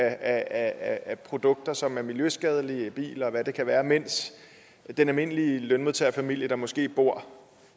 af produkter som er miljøskadelige biler og hvad det kan være mens den almindelige lønmodtagerfamilie der måske bor